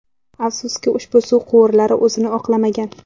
Afsuski ushbu suv quvurlari o‘zini oqlamagan.